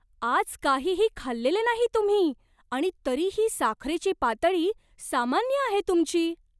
आज काहीही खाल्लेले नाही तुम्ही आणि तरीही साखरेची पातळी सामान्य आहे तुमची!